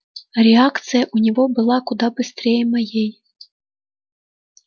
реакция у него была куда быстрее моей